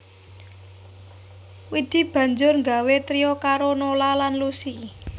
Widi banjur nggawé trio karo Nola lan Lusi